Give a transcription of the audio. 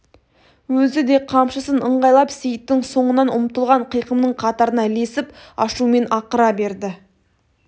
өзі де қамшысын ыңғайлап сейіттің соңынан ұмтылған қиқымның қатарына ілесіп ашумен ақыра берді